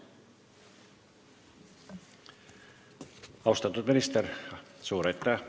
Austatud minister, suur aitäh!